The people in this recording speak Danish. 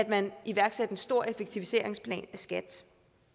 man iværksatte en stor effektiviseringsplan skat